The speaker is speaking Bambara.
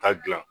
Ta gilan